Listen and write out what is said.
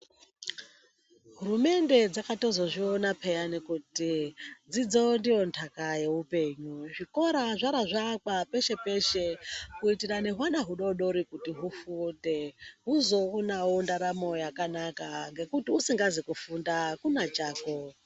Hurumende dzakatozozviona pheyani kuti dzidzo ndiyo ntaka yeupenyu zvikora zvora zvaakwa peshe-peshe kuitira nehwana hudodori kuti hufunde huzoonawo ndarama yakanaka, usikazi kufunda akuna chako.